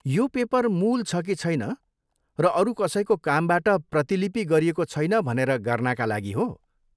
यो़ paper मूल छ कि छैन र अरू कसैको कामबाट प्रतिलिपि गरिएको छैन भनेर गर्नाका लागि हो।